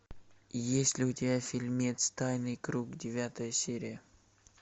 есть ли у тебя фильмец тайный круг девятая серия